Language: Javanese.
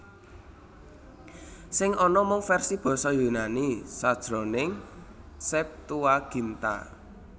Sing ana mung versi basa Yunani sajroning Septuaginta